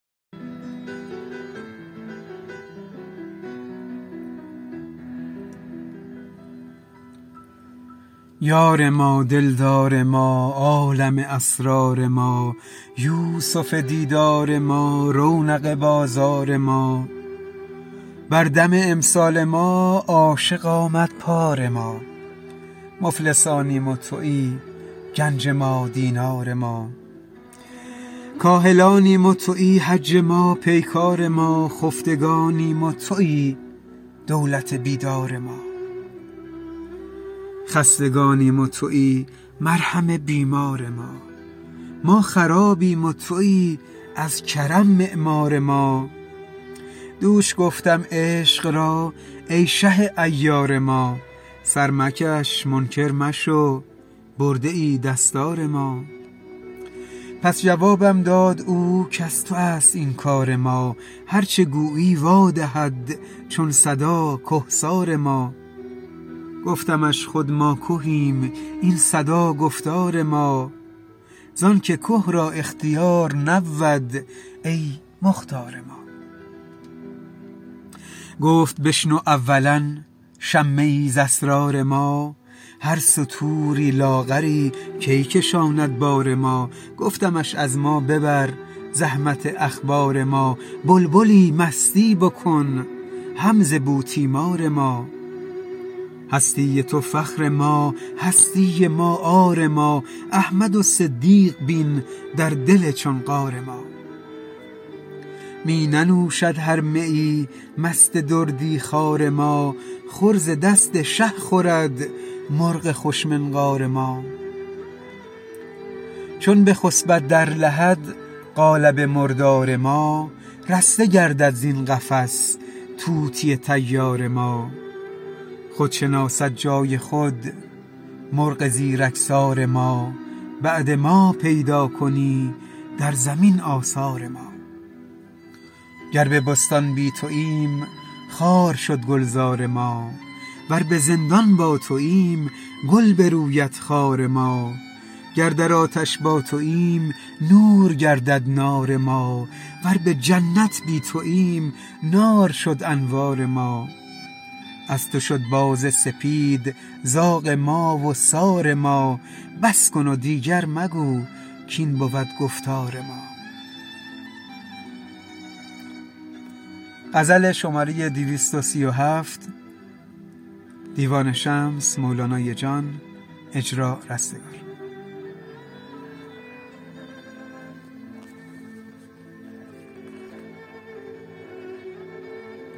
یار ما دلدار ما عالم اسرار ما یوسف دیدار ما رونق بازار ما بر دم امسال ما عاشق آمد پار ما مفلسانیم و تویی گنج ما دینار ما کاهلانیم و تویی حج ما پیکار ما خفتگانیم و تویی دولت بیدار ما خستگانیم و تویی مرهم بیمار ما ما خرابیم و تویی از کرم معمار ما دوش گفتم عشق را ای شه عیار ما سر مکش منکر مشو برده ای دستار ما پس جوابم داد او کز تو است این کار ما هر چه گویی وادهد چون صدا کهسار ما گفتمش خود ما کهیم این صدا گفتار ما زانک که را اختیار نبود ای مختار ما گفت بشنو اولا شمه ای ز اسرار ما هر ستوری لاغری کی کشاند بار ما گفتمش از ما ببر, زحمت اخبار ما بلبلی مستی بکن هم ز بوتیمار ما هستی تو فخر ما هستی ما عار ما احمد و صدیق بین در دل چون غار ما می ننوشد هر میی مست دردی خوار ما خور ز دست شه خورد مرغ خوش منقار ما چون بخسپد در لحد قالب مردار ما رسته گردد زین قفس طوطی طیار ما خود شناسد جای خود مرغ زیرکسار ما بعد ما پیدا کنی در زمین آثار ما گر به بستان بی توییم خار شد گلزار ما ور به زندان با توییم گل بروید خار ما گر در آتش با توییم نور گردد نار ما ور به جنت بی توییم نار شد انوار ما از تو شد باز سپید زاغ ما و سار ما بس کن و دیگر مگو کاین بود گفتار ما